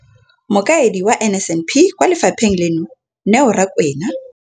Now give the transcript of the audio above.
Mokaedi wa NSNP kwa lefapheng leno, Neo Rakwena,